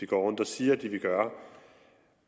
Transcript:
går rundt og siger den vil gøre